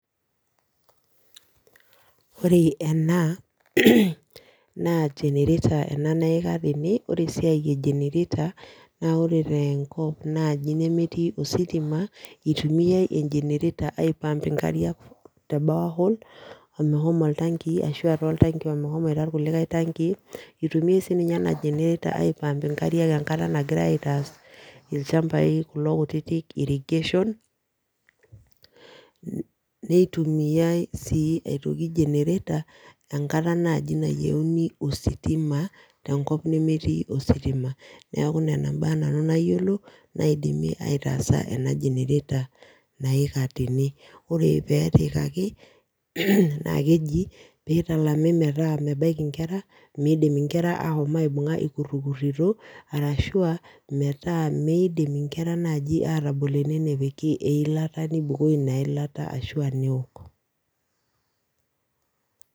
Ore ena naa generator ena nayika tene ore esiai generator naa ore tenkop naaji nemetii ositima itumiae e generator ai pump nkariak te borehole meshomo oltanki, nitumie sii iropiyiani ai pump inkariak enkata ilchampai kulo kutitik irrigation ,neitumiae sii aitoki generator enkata naaji nayieuni ositima tenkop nemetii ositima, neeku Nena mbaa nanu nayiolo naidimie, ataasa ena generator naika tene, ore pee etiikkaki naa keji pee italami metaa mebaiki nkera, ikutikirito ashu ae miidim inkera naaji epiki eilata Ina ilata, ashu aa.